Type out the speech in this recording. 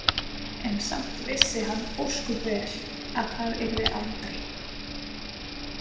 En samt vissi hann ósköp vel að það yrði aldrei.